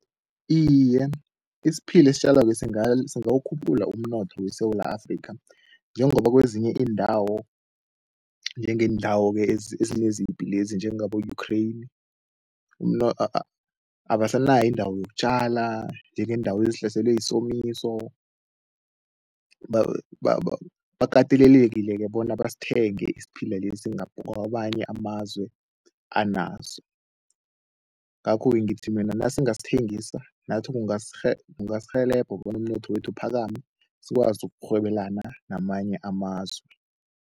Iye, isiphila esitjalwako singawukhuphula umnotho weSewula Afrika njengoba kwezinye iindawo njengeendawo ke ezinezipi njengabo-Ukraine abasanayo indawo yokutjala njengeendawo ezihlaselwe yisomiso, bakatelelekile bona basithenge isiphila lesi kwamanye amazwe anaso. Ngakho-ke ngithi mina nasingasithengisa, nathi kungasirhelebha bona umnotho wethu uphakame, sikwazi ukurhwebelana namanye amazwe.